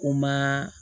U ma